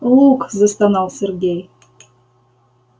лук застонал сергей